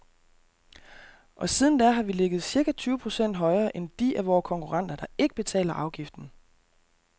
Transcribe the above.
Og siden da har vi ligget cirka tyve procent højere end de af vore konkurrenter, der ikke betaler afgiften.